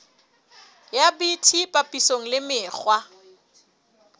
ya bt papisong le mekgwa